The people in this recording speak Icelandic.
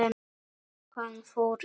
Hann fór í bíó.